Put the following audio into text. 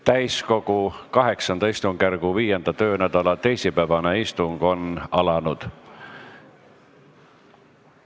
Täiskogu VIII istungjärgu 5. töönädala teisipäevane istung on alanud.